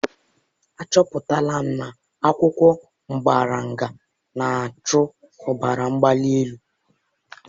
Achọpụtala m na akwụkwọ moringa na-achụ ọbara mgbali elu.